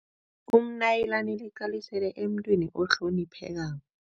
Umnayilana liqalisele emntwini ohloniphekako.